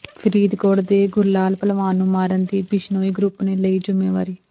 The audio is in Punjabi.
ਫਰੀਦਕੋਟ ਦੇ ਗੁਰਲਾਲ ਭਲਵਾਨ ਨੂੰ ਮਾਰਨ ਦੀ ਬਿਸ਼ਨੋਈ ਗਰੁੱਪ ਨੇ ਲਈ ਜਿੰਮੇਵਾਰੀ